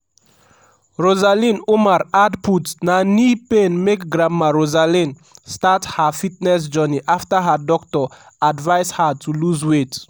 rosalind umar add put na knee pain make grandma rosalind start her fitness journey afta her doctor advise her to lose weight.